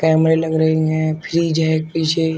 कैमरे लग रही हैं फ्रिज है पीछे--